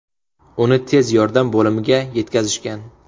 Uni tez yordam bo‘limiga yetkazishgan.